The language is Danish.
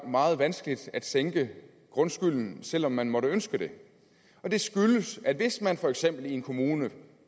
meget vanskeligt at sænke grundskylden selv om man måtte ønske det og det skyldes at hvis man for eksempel i en kommune